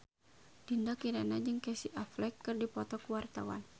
Dinda Kirana jeung Casey Affleck keur dipoto ku wartawan